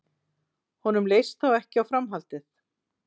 Honum leist þó ekki á framhaldið